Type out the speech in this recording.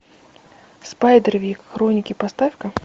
спайдервик хроники поставь ка